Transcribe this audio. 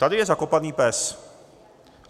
Tady je zakopaný pes.